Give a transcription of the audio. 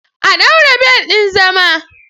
A ɗaure bel ɗin zama!